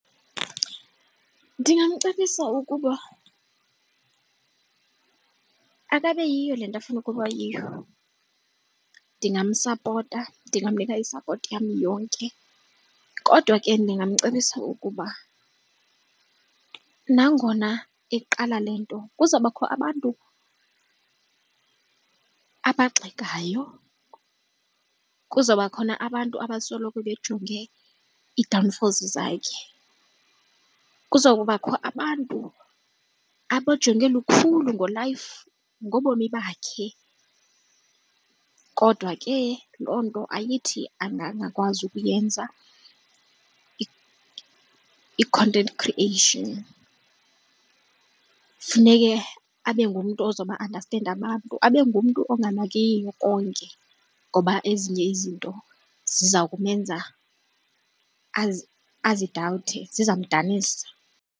Ndingamcebisa ukuba akabe yiyo le nto afuna ukuba yiyo, ndingamsapota. Ndingamnika isapoti yam yonke kodwa ke ndingamcebisa ukuba nangona eqala le nto kuzawubakho abantu abagxekayo, kuzawuba khona abantu abasoloko bejonge ii-downfalls zakhe, kuza kubakho abantu abajonge lukhulu ngo-life ngobomi bakhe. Kodwa ke loo nto ayithi angangakwazi ukuyenza i-content creation, funeke abe ngumntu ozoba andastenda abantu abe ngumntu onganakiyo konke ngoba ezinye izinto ziza kumenza azidawuthe zizamdanisa.